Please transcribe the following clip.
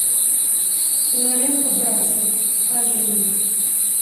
кинолента братья покажи мне